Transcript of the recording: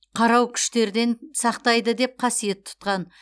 қарау күштерден сақтайды деп қасиет тұтқан